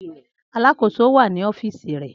Aláàkòso wa ni ọfiisi rẹ.